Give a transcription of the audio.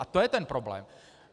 A to je ten problém.